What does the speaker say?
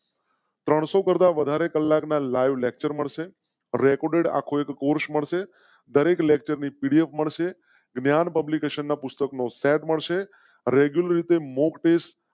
ત્રણસો કરતા વધારે કલાક ના લાઇવ લેક્ચર્સ મળશે એ રેકોર્ડ રાખો, કુશ મળશે. દરેક લેકચર PDF મળશે. ધ્યાન પબ્લિકેશનના પુસ્તકો નો સેટ મળશે. રેગ્યુલર રીતે મૉકટૅસ્ટ